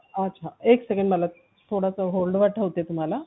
अच्छा एक सेकंद मला थोडंसं hold ठेवते तुम्हाला